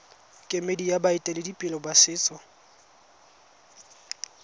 kemedi ya baeteledipele ba setso